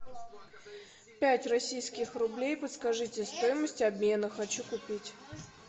пять российских рублей подскажите стоимость обмена хочу купить